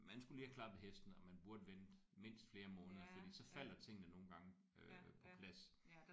Man skulle lige have klappet hesten og man burde vente mindst flere måneder fordi så falder tingene nogle gange øh på plads